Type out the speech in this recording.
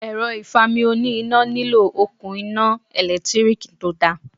Èrọ ìfami oní iná nílò òkun iná ẹ̀lẹ́tíríkì tó dára.